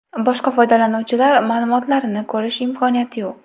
Boshqa foydalanuvchilar ma’lumotlarini ko‘rish imkoniyati yo‘q.